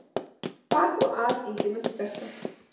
Bar þá að Ingimund sterka.